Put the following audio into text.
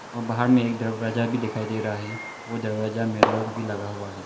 बाहर में एक दरवाजा भी दिखाई दे रहा है वो दरवाजा में लॉक भी लगा हुआ है।